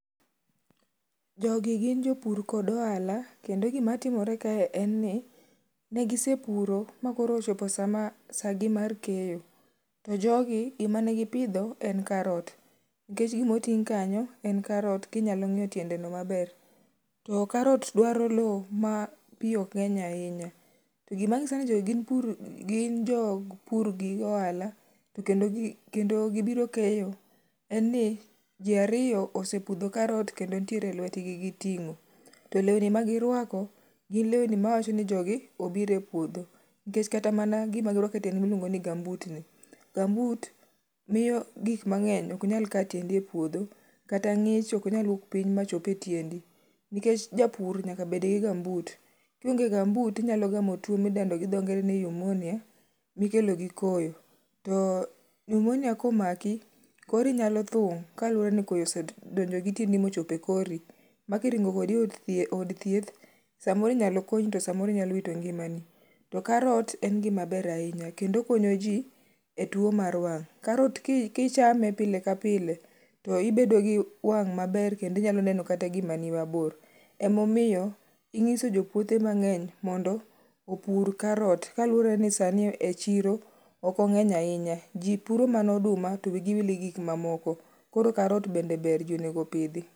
Jogi gin jopur kod oala kendo gimatimore kae en ni negisepuro ma koro ochopo sama, saa gi mar keyo. To jogi gimanegipidho en karot nikech gimoting' kanyo en karot kinyalo ng'iyo tiendeno maber. To karot dwaro loo mapii okng'eny ainya .To gimanyisoni jogi gin jog pur gi ohala to kendo gibiro keyo enni jii ariyo osepudho karot kendo ntiere e lwetgi giting'o. To leuni ma girwako gin leuni mawachoni jogi obiro e puodho nikech kata gima girwake tiendgi miluongoni gumbootni, gumboot mio gikmang'eny oknyal ka tiendi e puodho kata ng'ich oknyal wuok piny machopie tiendi nikech japur nyaka bedgi gumboot. Kionge gumboot tinyalogamo tuo midendo gi dho ngere ni pneumonia mikelo gi koyo. To pneumonia komaki kori nyalo thung' kaluore ni koyo osedonjo gi tiendi mochope kori. Makiringo kodi eod thieth samoro inyalo konyi to samoro inyalowito ngimani. To karot en gima ber ainya kendo okonyo jii e tuo mar wang'.Karot kichame pile ka pile to ibedo gi wang' maber kendo inyalo neno kata gimani mabor. Emomiyo inyiso jopuothe mang'eny mondo opur karot kaluoreni sani e chiro okong'eny ainya. Jii puro mana oduma to wii gi wil gi gikmakamoko. Koro karot bende ber jii onego opidhi.